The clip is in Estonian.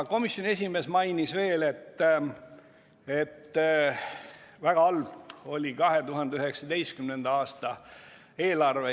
Komisjoni esimees mainis veel, et väga halb oli 2019. aasta eelarve.